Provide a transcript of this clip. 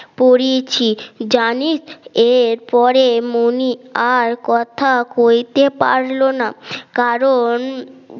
পুড়িয়েছি জানিস এরপরে মনি আর কথা কইতে পারল না কারণ